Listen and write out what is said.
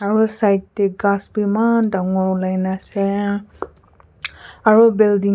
side te khass be eman ulai na aseo emtak aro building--